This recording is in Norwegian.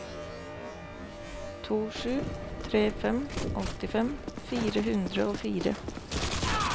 to sju tre fem åttifem fire hundre og fire